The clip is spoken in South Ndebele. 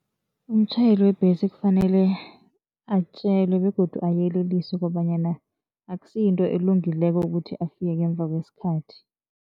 Umtjhayeli webhesi kufanele atjelwe begodu ayeleliswe kobanyana akusiyinto elungileko ukuthi afike ngemva kwesikhathi.